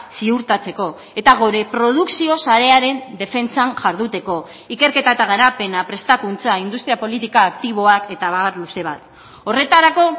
ziurtatzeko eta gure produkzio sarearen defentsan jarduteko ikerketa eta garapena prestakuntza industria politika aktiboak eta abar luze bat horretarako